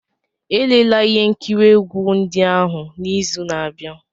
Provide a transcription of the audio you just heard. Elela ihe nkiri egwu ndị ahụ n'izu na-abịa!